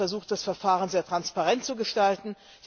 Ich habe versucht, das Verfahren sehr transparent zu gestalten.